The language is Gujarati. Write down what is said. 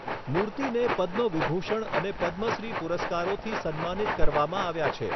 મૂર્તિને પદ્મ વિભૂષણ અને પદ્મશ્રી પુરસ્કારોથી સન્માનિત કરવામાં આવ્યા છે.